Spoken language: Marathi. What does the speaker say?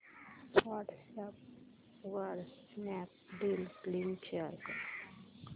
व्हॉट्सअॅप वर स्नॅपडील लिंक शेअर कर